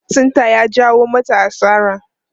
Lattin ta ya jawo mata asara.